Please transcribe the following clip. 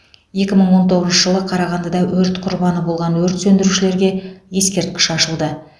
екі мың он тоғызыншы жылы қарағандыда өрт құрбаны болған өрт сөндірушілерге ескерткіш ашылды